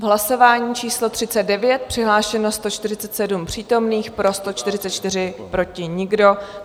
V hlasování číslo 39 přihlášeno 147 přítomných, pro 144, proti nikdo.